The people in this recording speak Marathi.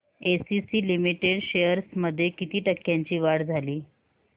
एसीसी लिमिटेड शेअर्स मध्ये किती टक्क्यांची वाढ झाली